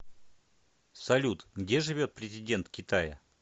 салют где живет президент китая